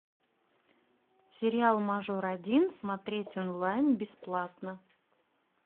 сериал мажор один смотреть онлайн бесплатно